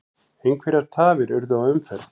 Einhverjar tafir urðu á umferð